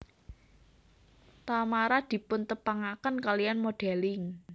Tamara dipuntepangaken kaliyan modelling